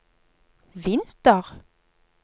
vinter